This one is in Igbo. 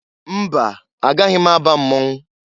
Mba! Agaghị m aba mmọnwụ.